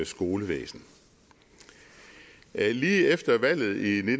skolevæsen lige efter valget i